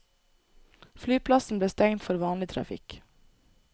Flyplassen ble stengt for vanlig trafikk.